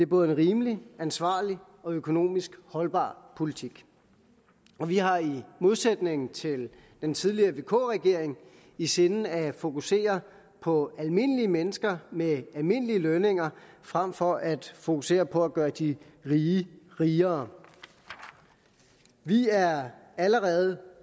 både rimelig ansvarlig og økonomisk holdbar politik vi har i modsætning til den tidligere vk regering i sinde at fokusere på almindelige mennesker med almindelige lønninger frem for at fokusere på at gøre de rige rigere vi er allerede